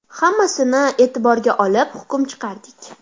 Hammasini e’tiborga olib hukm chiqardik.